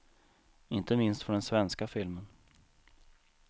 Inte minst för den svenska filmen.